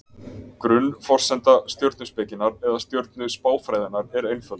Grunnforsenda stjörnuspekinnar, eða stjörnuspáfræðinnar, er einföld.